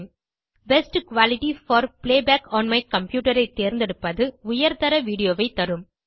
best quality for playback on my computer ஐ தேர்ந்தெடுப்பது உயர்தர வீடியோ ஐ தரும்